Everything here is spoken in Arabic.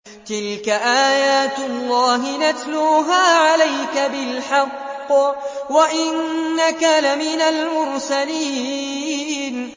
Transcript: تِلْكَ آيَاتُ اللَّهِ نَتْلُوهَا عَلَيْكَ بِالْحَقِّ ۚ وَإِنَّكَ لَمِنَ الْمُرْسَلِينَ